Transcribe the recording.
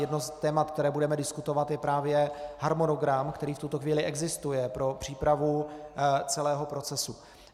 Jedno z témat, které budeme diskutovat, je právě harmonogram, který v tuto chvíli existuje, pro přípravu celého procesu.